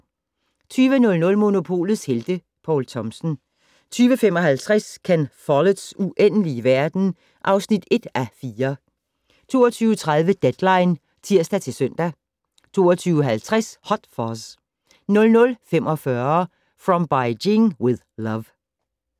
20:00: Monopolets Helte - Poul Thomsen 20:55: Ken Folletts Uendelige verden (1:4) 22:30: Deadline (tir-søn) 22:50: Hot Fuzz 00:45: From Beijing with Love